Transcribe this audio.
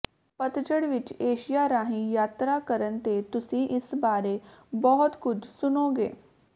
ਪਤਝੜ ਵਿਚ ਏਸ਼ੀਆ ਰਾਹੀਂ ਯਾਤਰਾ ਕਰਨ ਤੇ ਤੁਸੀਂ ਇਸ ਬਾਰੇ ਬਹੁਤ ਕੁਝ ਸੁਣੋਗੇ